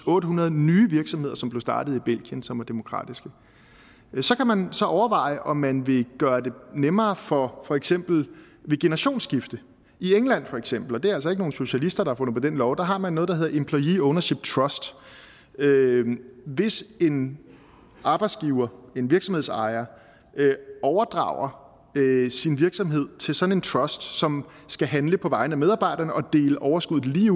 otte hundrede nye virksomheder som er startet i belgien og som er demokratiske så kan man overveje om man vil gøre det nemmere for for eksempel ved generationsskifte i england for eksempel og det er altså ikke nogle socialister der på den lov har man noget der hedder employee ownership trust hvis en arbejdsgiver en virksomhedsejer overdrager sin virksomhed til sådan en trust som skal handle på vegne af medarbejderne og dele overskuddet lige